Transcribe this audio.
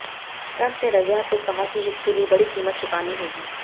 Trump ने रविवार को कहा कि इसके लिए बड़ी कीमत चुकानी होगी